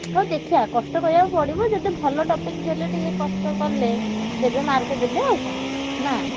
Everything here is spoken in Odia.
ହଉ ଦେଖିଆ କଷ୍ଟ କରିଆକୁ ପଡିବ। ଯଦି ଭଲ topic ଦେଲେ ଟିକେ କଷ୍ଟ କଲେ ଦେବେ mark ଦେବେ ଆଉ କଣ ନା?